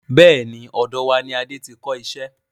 Bẹ́ẹ̀ni, ọ̀dọ̀ wá ní Adé tí n kọ iṣẹ́.